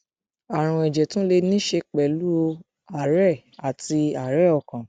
arùn ẹjẹ tún lè ní í ṣe pẹlú àárẹ àti àárẹ ọkàn